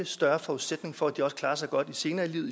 større forudsætning for at de også klarer sig godt senere i livet